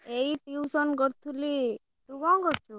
ଏଇ ଟିଉସନ କରୁଥିଲି ତୁ କଣ କରୁଛୁ?